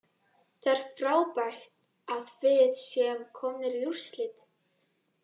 Það er frábært að við séum komnir í úrslit.